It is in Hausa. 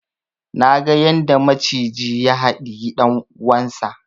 Naga yadda maciji ya haɗiyi dan uwansa